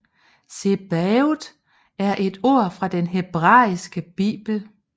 Zebaot er et ord fra den hebraiske bibel